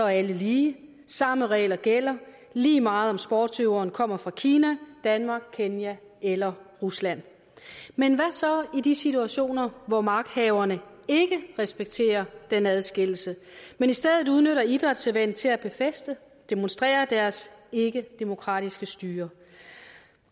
alle lige samme regler gælder lige meget om sportsudøveren kommer fra kina danmark kenya eller rusland men hvad så i de situationer hvor magthaverne ikke respekterer den adskillelse men i stedet udnytter idrætsevents til at befæste og demonstrere deres ikkedemokratiske styre